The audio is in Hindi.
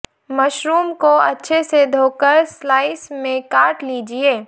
मशरूम को अच्छे से धोकर स्लाइस में काट लीजिये